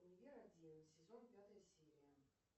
универ один сезон пятая серия